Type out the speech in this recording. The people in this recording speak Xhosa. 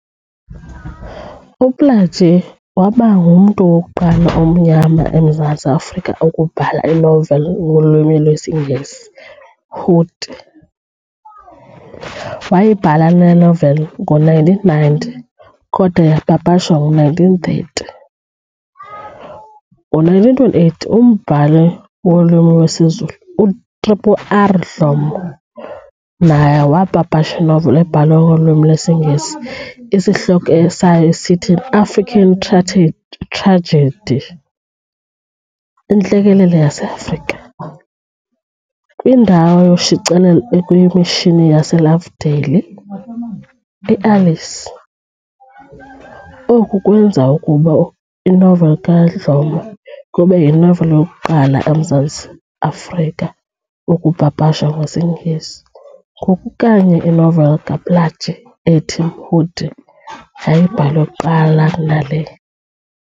UPlaatje wabangumntu wokuqala omnyama emZantsi afrika ukubhala inoveli ngolwimi lwesiNgesi - "Mhudi". wayibhala le noveli ngo-1919, kodwa yaapapashwa ngo-1930, ngo-1928 umbhali ngolwimi lwesiZulu uR. R. R. Dhlomo naye waapapasha inoveli ebhalwe ngolwimi lwesiNgesi, esihloko sayo sithi "An African Tragedy - Intlekele yase Afrika", kwindawo yoshicilelo ekuyimishini yaseLovedale, eAlice, oku kweenza ukuba inoveli kaDlomo kube yinoveli yokuqala emZantsi Afrika ukupapashwa ngesiNgesi, ngoku kanye inoveli kaPlaatjie ethi"Mhudi" yayibhalwe kuqala kuna le.